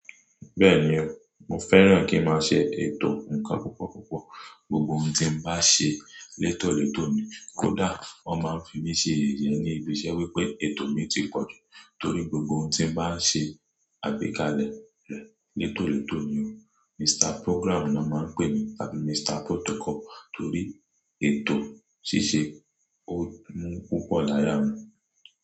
Bẹ́ẹ̀ni o, mo fẹ́ràn kí n máa ṣe ètò nǹkan púpọ̀púpọ̀. Gbogbo ohun tí n bá ṣe létòletò ni. Kódà wọ́n máa ń fi mí ṣe yeyẹ ní ibiṣẹ́ wípé ètò mi ti pọ̀jù torí gbogbo ohun tí n bá ń ṣe, àgbékalẹ̀ rẹ̀ létòletò ni o. Mr Program na mọ́n pè mi tàbí Mr Protocol torí ètò ṣíṣe ó mú púpọ̀ láya mi.